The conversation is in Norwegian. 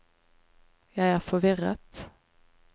jeg er forvirret